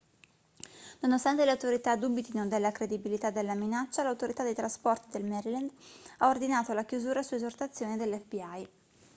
nonostante le autorità dubitino della credibilità della minaccia l'autorità dei trasporti del maryland ha ordinato la chiusura su esortazione dell'fbi